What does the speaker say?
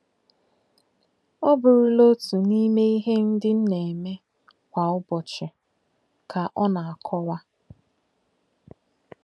Ọ bụrụla otu n'ime ihe ndị m na-eme kwa ụbọchị, ” ka ọ na-akọwa.